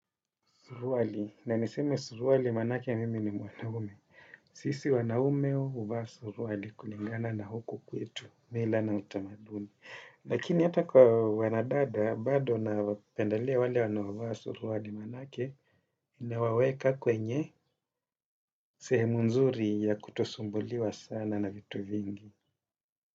Suruali, na niseme suruali manake mimi ni mwanaume. Sisi wanaume huvaa suruali kulingana na huku kwetu, mila na utamaduni. Lakini hata kwa wanadada, bado napendelia wale wanaovaa suruali manake, inawaweka kwenye sehemu nzuri ya kutosumbuliwa sana na vitu vingi.